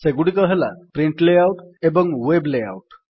ସେଗୁଡିକ ହେଲା print layout ଓ ୱେବ୍ ଲେଆଉଟ୍